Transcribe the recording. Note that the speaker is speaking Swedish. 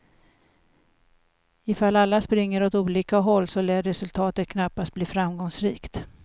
Ifall alla springer åt olika håll så lär resultatet knappast bli framgångsrikt.